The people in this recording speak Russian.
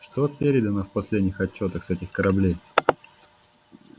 что передано в последних отчётах с этих кораблей